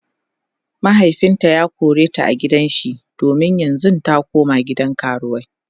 mahaifinta ya koreta a gidan shi yanzun ta koma gidan karuwai